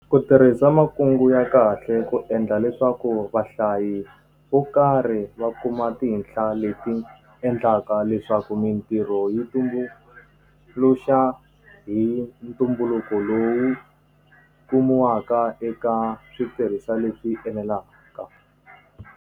Ku tirhisa makungu ya kahle ku endla leswaku vahlayi vo karhi va kuma tinhla leti endlaka leswaku mintirho yi tumbuluxa hi ntumbuluko lowu kumiwaka eka switirhisiwa leswi enelaka.